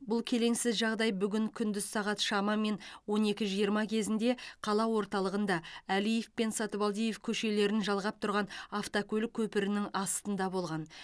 бұл келеңсіз жағдай бүгін күндіз сағат шамамен он екі жиырма кезінде қала орталығында әлиев пен сатыбалдиев көшелерін жалғап тұрған автокөлік көпірінің астында болған